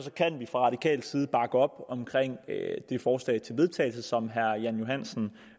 kan vi fra radikal side bakke op om det forslag til vedtagelse som herre jan johansen